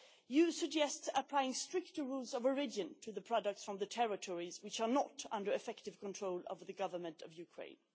You suggest applying stricter rules of origin to the products from the territories which are not under effective control of the Government of Ukraine.